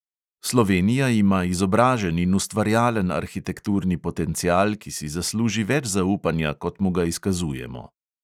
Slovenija ima izobražen in ustvarjalen arhitekturni potencial, ki si zasluži več zaupanja, kot mu ga izkazujemo.